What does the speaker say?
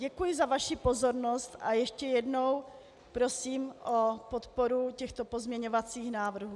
Děkuji za vaši pozornost a ještě jednou prosím o podporu těchto pozměňovacích návrhů.